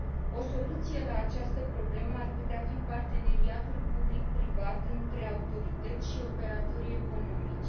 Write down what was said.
O soluție la această problemă ar putea fi parteneriatul public privat între autorități și operatorii economici.